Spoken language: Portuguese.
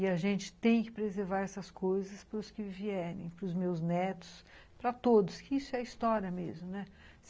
E a gente tem que preservar essas coisas para os que vierem, para os meus netos, para todos, que isso é história mesmo, né?